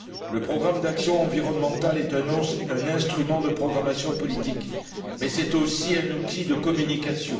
Le programme d'action environnementale est un instrument de programmation politique mais c'est aussi un outil de communication.